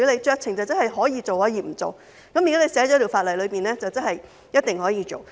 酌情代表他可以做，亦可以不做，但如果法例訂明了，即是一定可以做。